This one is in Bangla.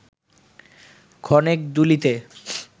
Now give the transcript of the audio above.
ক্ষণেক দুলিতে